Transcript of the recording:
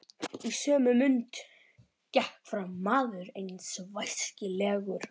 Í sömu mund gekk fram maður einn væskilslegur.